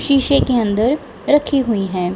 शीशे के अंदर रखी हुई हैं।